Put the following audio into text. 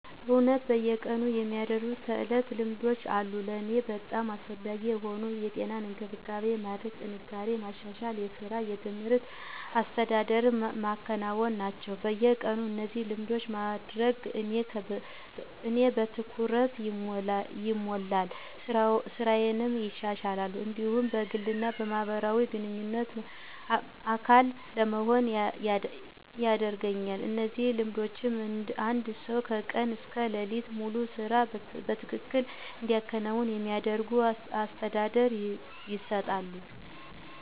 እውነት በየቀኑ የሚደረጉ ተዕለት ልማዶች አሉ። ለእኔ በጣም አስፈላጊ የሆኑት የጤና እንክብካቤ ማድረግ፣ ጥንካሬን ማሻሻል፣ የሥራ እና የትምህርት አስተዳደር ማከናወን ናቸው። በየቀኑ እነዚህን ልማዶች ማድረግ እኔን በትኩረት ይሞላል፣ ሥራዬን ይሻሻላል፣ እንዲሁም በግል እና በማህበረሰብ ግንኙነት አካል ለመሆን ያደርገኛል። እነዚህ ልማዶች አንድ ሰው ከቀን እስከ ሌሊት ሙሉ ስራ በትክክል እንዲከናወን እንዲያደርጉ አስተዳደር ይሰጣሉ።